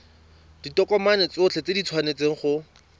ditokomane tsotlhe di tshwanetse go